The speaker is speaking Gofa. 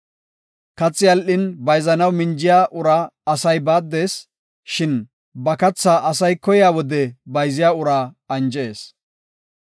Kathi al77in bayzanaw minjiya uraa asay baaddees. Shin ba kathaa asay koyiya wode bayziya uraa anjees.